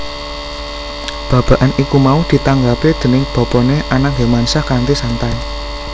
Babagan iku mau ditanggapi déning bapané Anang Hermansyah kanthi santai